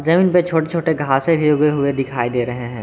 जमीन पे छोटे छोटे घासें भी उगे हुए दिखाई दे रहे हैं।